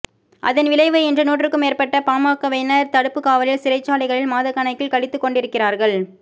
அதன் விளைவு இன்று நூற்றுக்கும் மேற்பட்ட பாமகவினர் தடுப்புக்காவலில் சிறைச்சாலைகளில் மாதக்கணக்கில் கழித்துக் கொண்டிருக்கிறார்கள்